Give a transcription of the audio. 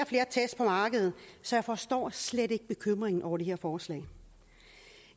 flere test på markedet så jeg forstår slet ikke bekymringen over det her forslag